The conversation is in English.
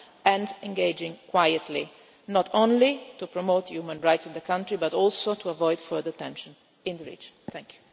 up and engaging quietly not only to promote human rights in the country, but also to avoid further tension in the region.